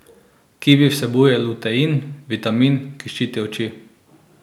Kivi vsebuje lutein, vitamin, ki ščiti oči.